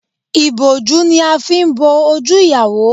Ìbòjú ni a fi n bo ojú ìyàwó